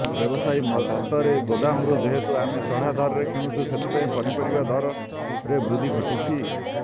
ବ୍ୟବସାୟୀଙ୍କ ମତରେ ଗୋଦାମରୁ ଯେହେତୁ ଆମେ ଚଢା ଦରରେ କିଣୁଛୁ ସେଥିପାଇଁ ପନିପରିବା ଦରରେ ବୃଦ୍ଧି ଘଟୁଛି